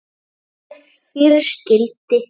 Skarð fyrir skildi